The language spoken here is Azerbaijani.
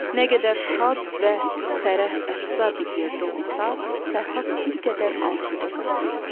Nə qədər şad və fərəh-əfza bir yerdə olsa, Fərhad bir qədər asudə qala bilmirdi.